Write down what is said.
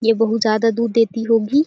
ये बहुत ज्यादा दूध देती होगी --